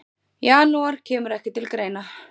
Janúar kemur ekki til greina.